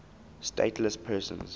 stateless persons